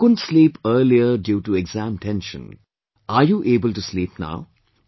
You couldn't sleep earlier due to exam tension, are you able to sleep now